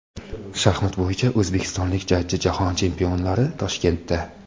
Shaxmat bo‘yicha o‘zbekistonlik jajji Jahon chempionlari Toshkentda .